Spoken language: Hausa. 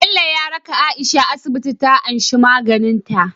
Bello ya raka aisha asibiti ta anshi maganin ta